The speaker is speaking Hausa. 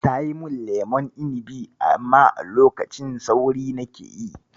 Tayi min lemon inibi, amma a lokacin sauri nake yi.